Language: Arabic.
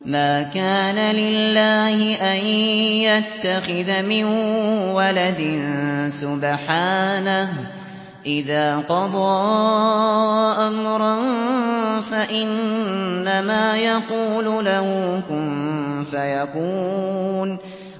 مَا كَانَ لِلَّهِ أَن يَتَّخِذَ مِن وَلَدٍ ۖ سُبْحَانَهُ ۚ إِذَا قَضَىٰ أَمْرًا فَإِنَّمَا يَقُولُ لَهُ كُن فَيَكُونُ